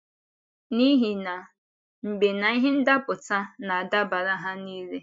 N’ihi na “mgbe na ihe ndapụta na-adabara ha niile.”